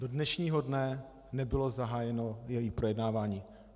Do dnešního dne nebylo zahájeno její projednávání.